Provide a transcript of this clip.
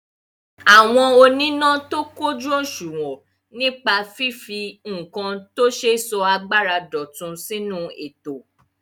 Àwọn oníná tó kójù òṣùwọ̀n nípa fífi nǹkan tó ṣe sọ agbára dọ̀tun sínú ètò.